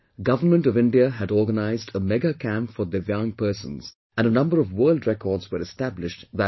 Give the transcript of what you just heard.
Government of India had organized a Mega Camp for DIVYANG persons and a number of world records were established that day